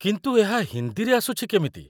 କିନ୍ତୁ ଏହା ହିନ୍ଦୀରେ ଆସୁଛି କେମିତି?